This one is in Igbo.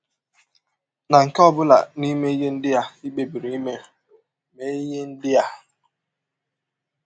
Na nke ọ bụla n’ime ihe ndị i kpebiri ime, mee ihe ndị a: